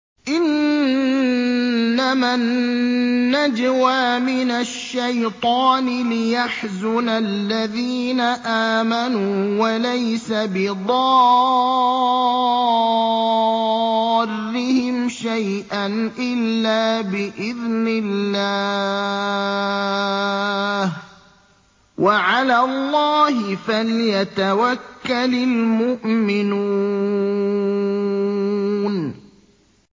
إِنَّمَا النَّجْوَىٰ مِنَ الشَّيْطَانِ لِيَحْزُنَ الَّذِينَ آمَنُوا وَلَيْسَ بِضَارِّهِمْ شَيْئًا إِلَّا بِإِذْنِ اللَّهِ ۚ وَعَلَى اللَّهِ فَلْيَتَوَكَّلِ الْمُؤْمِنُونَ